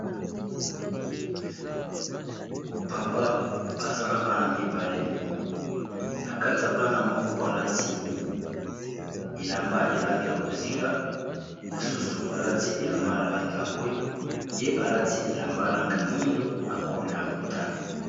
papa aza na bana mibale na kati ya bana yango moko alati elamba ya langi ya bozinga mosusu alati elamba ya langi ya bwe ye alati elamba ya langi ya mwindo na cole ya motane.